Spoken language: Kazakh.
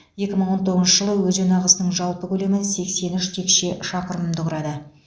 екі мың он тоғызыншы жылы өзен ағысының жалпы көлемі сексен үш текше шақырымды құрады